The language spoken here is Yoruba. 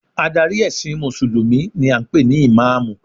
Adarí ẹ̀sìn mùsùlùmí ni a ń pè ní ìmáàmù